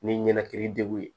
Ni ɲɛnɛkili degun ye